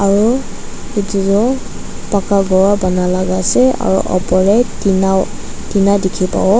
aro etu toh paka ghor vara bana laga ase aro opor dae tina tina dekhi pavo.